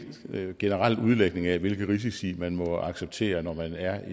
generel udlægning af hvilke risici man må acceptere når man er